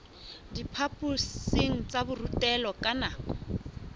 diphaphosing tsa borutelo ka nako